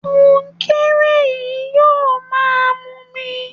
Kọnkéré yìí yóò máa mumi